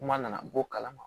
Kuma nana bɔ kalama